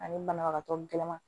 Ani banabagatɔ gɛlɛman